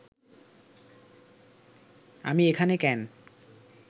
আমি এখানে কেন